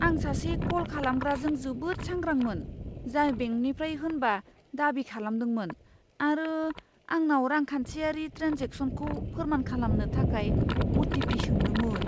आं सासे कल खालामग्राजों जोबोद सांग्रांमोन, जाय बेंकनिफ्राय होनना दाबि खालामदोंमोन आरो आंनाव रांखान्थियारि ट्रेन्जेकसनखौ फोरमान खालामनो थाखाय अ.टि.पि. सोंदोंमोन।